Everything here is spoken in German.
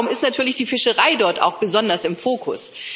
Und deshalb ist natürlich die Fischerei dort auch besonders im Fokus.